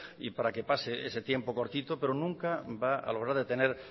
y para que pase ese tiempo cortito pero nunca va a lograr detener